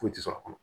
Foyi tɛ sɔrɔ a kɔnɔ